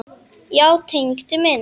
Já, Tengdi minn.